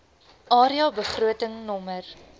area begroting nr